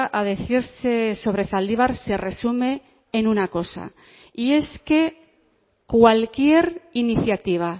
a decirse sobre zaldibar se resume en una cosa y es que cualquier iniciativa